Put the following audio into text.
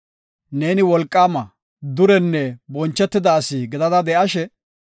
Neeni wolqaama, durenne bonchetida asi gidada de7ashe,